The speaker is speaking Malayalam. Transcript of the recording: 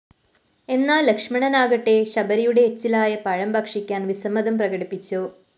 എന്നാല്‍ ലക്ഷ്മണനാകട്ടെ ശബരിയുടെ എച്ചിലായ പഴം ഭക്ഷിക്കാന്‍ വിസമ്മതം പ്രകടിപ്പിച്ചു